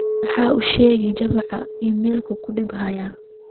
maxaa u sheegay juma iimaylkii ugu dambeeyay?